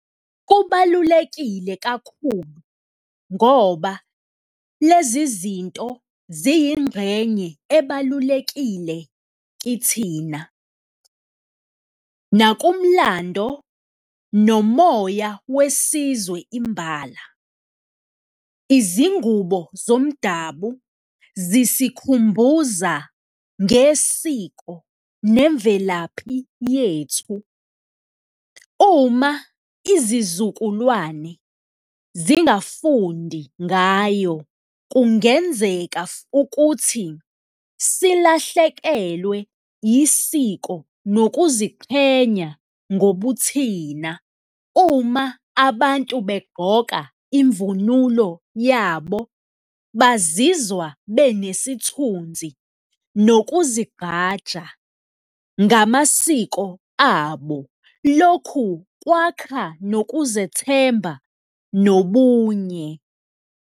Kubalulekile kakhulu ngoba lezi zinto ziyingxenye ebalulekile kithina nakumlando nomoya wesizwe imbala. Izingubo zomdabu zisikhumbuza ngesiko nemvelaphi yethu, uma izizukulwane zingafundi ngayo, kungenzeka ukuthi silahlekelwe isiko nokuziqhenya ngobuthina. Uma abantu begqoka imvunulo yabo, bazizwa benesithunzi nokuzigqaja ngamasiko abo, lokhu kwakha nokuzethemba nobunye.